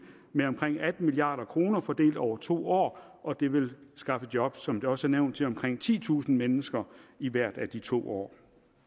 med omkring atten milliard kroner fordelt over to år og det vil skaffe job som det også er nævnt til omkring titusind mennesker i hvert af de to år